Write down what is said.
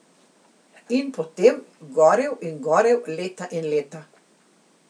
In potem gorel in gorel, leta in leta.